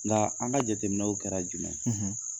Nka an ka jateminɛw kɛra jumɛnye,